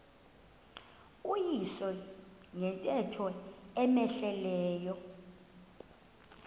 uyise ngento cmehleleyo